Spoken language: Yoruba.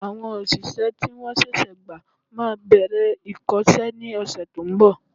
Àwọn òṣìṣẹ́ tí wọ́n ṣẹ̀ṣẹ̀ gba máa bẹ̀rẹ̀ ìkọ́sẹ́ ní ọ̀sẹ̀ to ń bọ̀